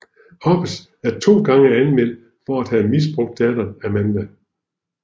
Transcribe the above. Hobbs er to gange anmeldt for at have misbrugt datteren Amanda